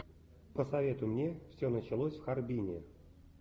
посоветуй мне все началось в харбине